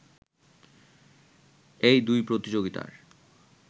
এই দুই প্রতিযোগিতার